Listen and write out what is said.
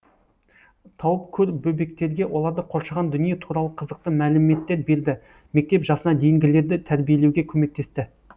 тауып көр бөбектерге оларды қоршаған дүние туралы қызықты мәліметтер берді мектеп жасына дейінгілерді тәрбиелеуге көмектесті